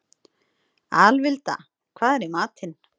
Alvilda, hvað er í matinn?